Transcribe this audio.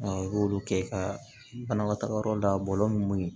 I b'olu kɛ ka banakɔtagayɔrɔ da bɔlɔlɔ mun